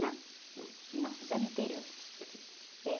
Não.ão?ão, só no interior. É.